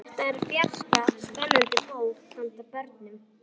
Þetta er fjarska spennandi bók handa börnum.